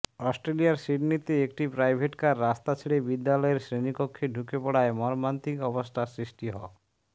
অস্ট্রেলিয়ার সিডনিতে একটি প্রাইভেটকার রাস্তা ছেড়ে বিদ্যালয়ের শ্রেণিকক্ষে ঢুকে পড়ায় মর্মান্তিক অবস্থার সৃষ্টি হ